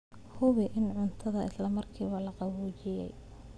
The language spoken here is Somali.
Hubi in cuntada isla markiiba la qaboojiyey.